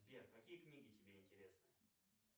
сбер какие книги тебе интересны